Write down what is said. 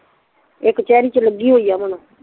ਏ ਕਚੇਰੀ ਚ ਲੱਗੀ ਹੋਈ ਆ ਅਮਨ